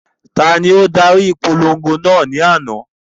Tani o dari ipolongo naa ni ana?